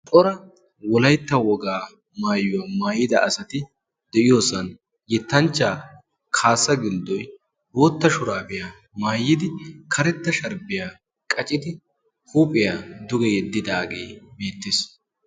cora wolaytta wogaa maayuwaa maayida asati de7iyoosan yettanchchaa kaassa gilddoy bootta shuraabiyaa maayidi karetta sharbbiyaa qacidi huuphiyaa duge yeddidaagee beettes.